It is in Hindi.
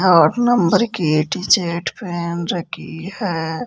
आठ नंबर की टी शर्ट पहन रखी है।